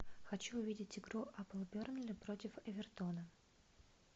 хочу увидеть игру апл бернли против эвертона